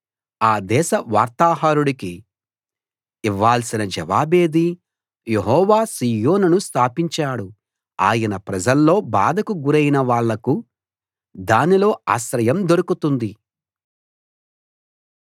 ఆ దేశ వార్తాహరుడికి ఇవ్వాల్సిన జవాబేది యెహోవా సీయోనును స్థాపించాడు ఆయన ప్రజల్లో బాధకు గురైన వాళ్లకు దానిలో ఆశ్రయం దొరుకుతుంది